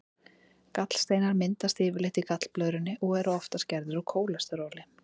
Gallsteinar myndast yfirleitt í gallblöðrunni og eru oftast gerðir úr kólesteróli.